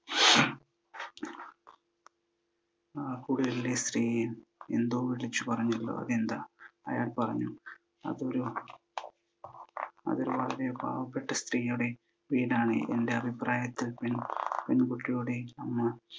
ആ കുടിലിലെ സ്ത്രീ എന്തോ വിളിച്ചു പറഞ്ഞല്ലോ, എന്താ? അയാൾ പറഞ്ഞു, അതൊരു വളരെ പാവപ്പെട്ട സ്ത്രീയുടെ വീടാണ്. എൻ്റെ അഭിപ്രായത്തിൽ പെൺകുട്ടിയുടെ അമ്മ